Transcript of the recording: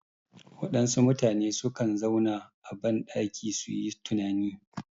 Waɗansu mutane sukan zauna a ban ɗaki suyi tunani